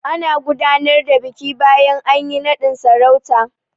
Ana gudanar da biki bayan anyi naɗin sarauta.